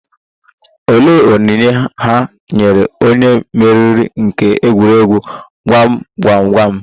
Olee onyinye ha nyere onye mmeri nke egwuregwu gwam gwam gwam?